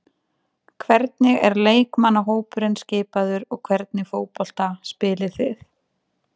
Hvernig er leikmannahópurinn skipaður og hvernig fótbolta spilið þið?